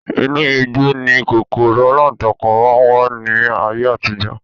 Inu igbó ni kòkòrò alántakùn máa ń wà ní ayé àtijọ́